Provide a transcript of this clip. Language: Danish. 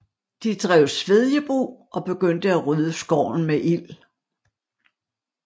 De drev svedjebrug og begyndte at rydde skoven med ild